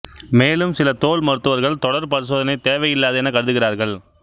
மேலும் சில தோல் மருத்துவர்கள் தொடர் பரிசோதனை தேவையில்லாதது எனக் கருதுகிறார்கள்